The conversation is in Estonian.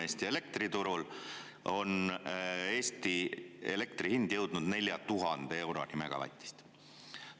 Eesti elektriturul on elektri hind jõudnud 4000 euroni megavatist.